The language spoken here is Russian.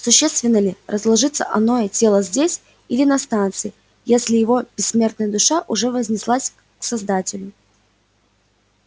существенно ли разложится оное тело здесь или на станции если его бессмертная душа уже вознеслась к создателю